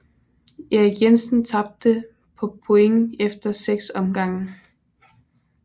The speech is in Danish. Erik Jensen tabte på point efter 6 omgange